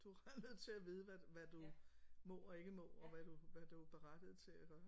Du er nødt til at vide hvad hvad du må og ikke må og hvad du hvad du er berettiget til at gøre